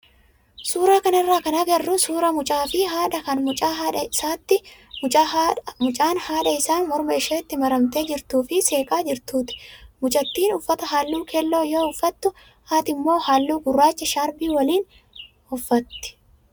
Suuraa kanarraa kan agarru suuraa mucaa fi haadhaa kan mucaan haadha isaa morma isheetti maramtee jirtuu fi seeqaa jiruuti. Mucattiin uffata halluu keelloo yoo uffattu haati immoo halluu gurraacha shaarbii waliini.